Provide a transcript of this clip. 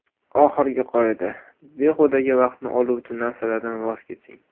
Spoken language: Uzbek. Oxirgi qoida – behudaga vaqtni oluvchi narsalardan voz keching.